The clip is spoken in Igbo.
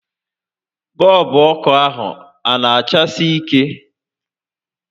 Bọọlbụ ọkụ a a na achasi ike?